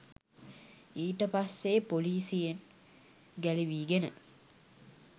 ඊටපස්සේ පොලිසියෙන් ගැළවීගෙන